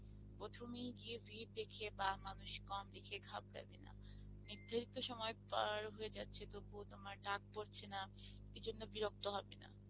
প্রথমেই গিয়ে ভিড় দেখিয়ে বা মানুষ কম দেখিয়ে ঘাবড়াবে না, নির্ধারিত সময় পার হয়ে যাচ্ছে তবুও তোমার ডাক পরছে না এই জন্যে বিরক্ত হবে না,